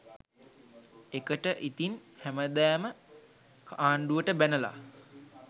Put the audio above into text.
එකට ඉතින් හැමදාම ආණ්ඩුවට බැනල